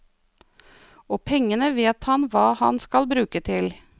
Og pengene vet han hva han skal bruke til.